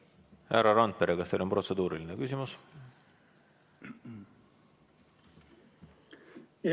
Härra Randpere, kas teil on protseduuriline küsimus?